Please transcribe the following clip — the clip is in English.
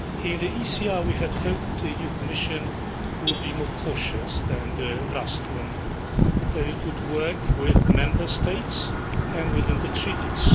In the ECR we had hoped the new Commission would be more cautious than the last one that it would work with the Member States and within the Treaties.